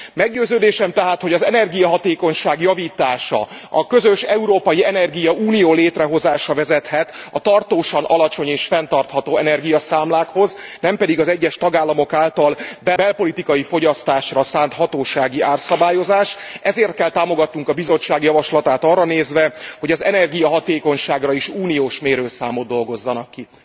Meggyőződésem tehát, hogy az energiahatékonyság javítása, a közös európai energiaunió létrehozása vezethet a tartósan alacsony és fenntartható energiaszámlákhoz, nem pedig az egyes tagállamok által belpolitikai fogyasztásra szánt hatósági árszabályozás, ezért kell támogatnunk a Bizottság javaslatát arra nézve, hogy az energiahatékonyságra is uniós mérőszámot dolgozzanak ki.